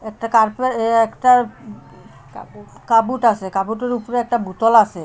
একটা কাপড় একটা কাবুট আসে কাবুটের উপরে একটা বোতল আসে।